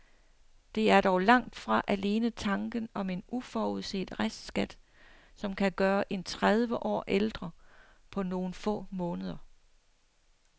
Det er dog langt fra alene tanken om en uforudset restskat, som kan gøre en tredive år ældre på nogle få måneder.